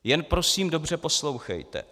Jen prosím dobře poslouchejte!